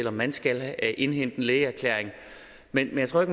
at man skal indhente en lægeerklæring men jeg tror